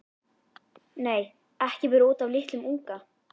Nei, ekki bara út af litlum unga.